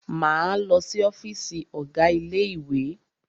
Máa lọ si ọ́fìsì ọ̀gá ilé ìwé.